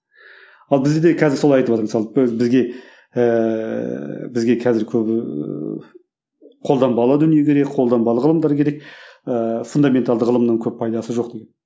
ал бізде қазір солай айтыватыр мысалы бізге ііі бізге қазір көбі қолданбалы дүние керек қолданбалы ғылымдар керек ыыы фундаменталды ғылымның көп пайдасы жоқ деп